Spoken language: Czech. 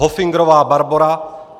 Hofingrová Barbora